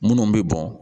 Minnu bɛ bɔn